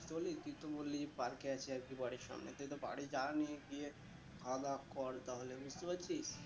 বলি তুই তো বললি যে park এ আছি আর কি বাড়ির সামনে কিন্তু বাড়ি যা নিয়ে গিয়ে খাওয়া দাওয়া কর তাহলে বুঝতে পারছিস।